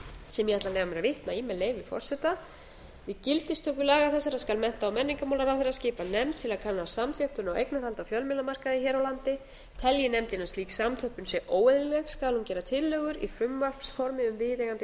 sem ég ætla að leyfa mér að vitna í með leyfi forseta við gildistöku laga þessara skal menntamálaráðherra skipa nefnd til að kanna samþjöppun á eignarhaldi á fjölmiðlamarkaði hér á landi telji nefndin að slík samþjöppun sé óeðlileg skal hún gera tillögur í frumvarpsformi um viðeigandi